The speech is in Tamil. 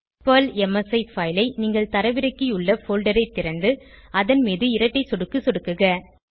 பெர்ல் எம்எஸ்இ பைல் ஐ நீங்கள் தரவிறக்கியுள்ள போல்டர் ஐ திறந்து அதன் மீது இரட்டை சொடுக்கு சொடுக்குக